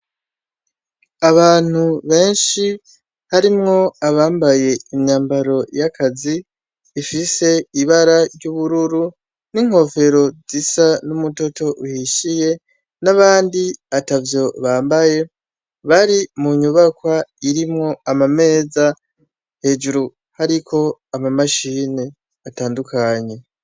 Abantu benshi harimwo abambaye imyambaro y'akazi ifise ibara ry'ubururu n'inkofero zisa n'umutoto uhishiye, n'abandi atavyo bambaye bari mu nyubakwa irimwo amameza hejuru hariko ama mashini atandukanye.